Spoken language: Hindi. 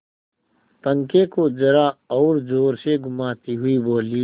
पंखे को जरा और जोर से घुमाती हुई बोली